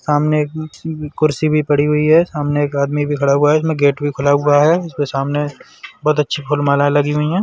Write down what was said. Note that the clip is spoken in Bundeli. सामने एक कुर्सी भी पड़ी हुई है। सामने एक आदमी भी खड़ा हुआ है। इसमें एक गेट भी खुला हुआ है। उसके सामने बहोत अच्छी फूल मालाएं लगी हुई हैं।